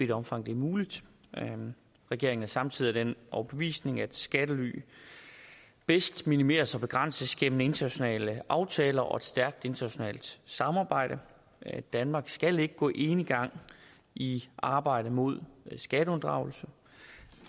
det omfang det er muligt regeringen er samtidig af den overbevisning at skattely bedst minimeres og begrænses gennem internationale aftaler og et stærkt internationalt samarbejde danmark skal ikke gå enegang i arbejdet mod skatteunddragelse